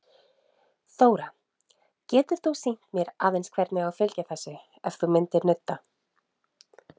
Þóra: Getur þú sýnt mér aðeins hvernig á að fylgja þessu, ef þú myndir nudda?